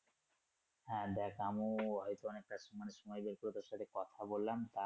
হ্যা দেখ আমিও হয়তো অনেক টা সময় বের করে তোর সাথে কথা বললাম তা।